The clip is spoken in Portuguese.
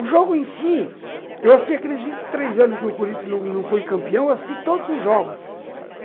O jogo em si, eu assisti aqueles vinte e três anos que o Corinthians não foi campeão, eu assisti todos os jogos.